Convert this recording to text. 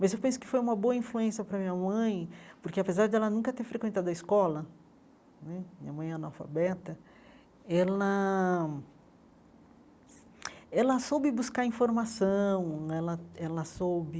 Mas eu penso que foi uma boa influência para minha mãe, porque apesar de ela nunca ter frequentado a escola né, minha mãe é analfabeta, ela ela soube buscar informação né, ela ela soube